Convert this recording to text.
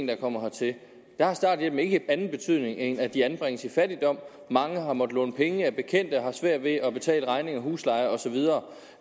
der kommer hertil har starthjælpen ikke anden betydning end at de anbringes i fattigdom mange har måttet låne penge af bekendte og har svært ved at betale regninger husleje og så videre